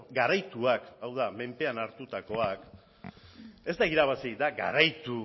garaituak hau da mendean hartutakoak ez da irabazi da garaitu